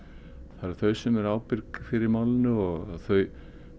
það eru þau sem eru ábyrg fyrir málinu og þau